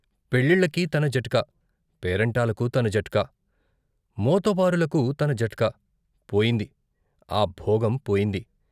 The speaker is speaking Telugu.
పెళ్ళిళ్ళకి తన జట్కా, పేరంటాలకు తన జట్కా, మోతబారులకు తన జట్కా పోయింది ఆ భోగం పోయింది.